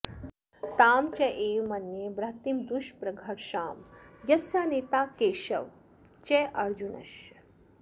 तां चैव मन्ये बृहतीं दुष्प्रघर्षां यस्या नेता केशवश्चार्जुनश्च